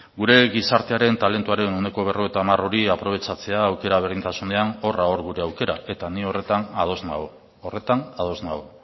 gure gizartearen talentuaren ehuneko berrogeita hamar hori aprobetxatzea aukera berdintasunean horra hor gure aukera eta ni horretan ados nago horretan ados nago